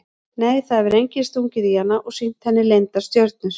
Nei það hefur enginn stungið í hana og sýnt henni leyndar stjörnur.